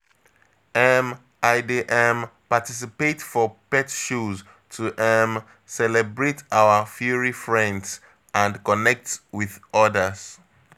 um I dey um participate for pet shows to um celebrate our furry friends and connect with others.